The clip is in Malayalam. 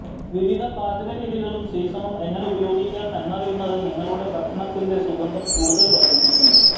വിവിധ പാചക രീതികളും സീസണും എങ്ങനെ ഉപയോഗിക്കാം എന്നറിയുന്നത് നിങ്ങളുടെ ഭക്ഷണത്തിന്റെ സുഗന്ധം കൂടുതൽ വർദ്ധിപ്പിക്കും